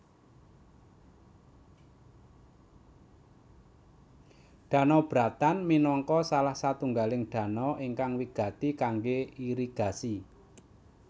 Danau Bratan minangka salah satunggaling danau ingkang wigati kangge irigasi